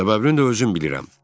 Səbəbini də özüm bilirəm.